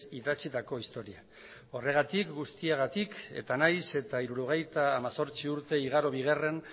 idatzitako historia horregatik guztiagatik eta nahiz eta hirurogeita hemezortzi urte igaro bigarren